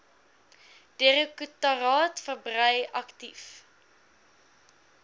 direktoraat verbrei aktief